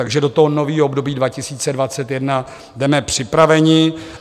Takže do toho nového období 2021 jdeme připraveni.